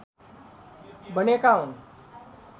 बनेका हुन्